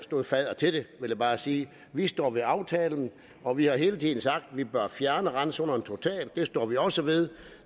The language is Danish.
fadder til det vil jeg bare sige vi står ved aftalen og vi har hele tiden sagt at vi bør fjerne randzonerne totalt det står vi også ved